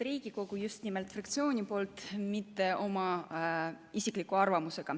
Räägin just nimelt fraktsiooni nimel, mitte oma isiklikku arvamust.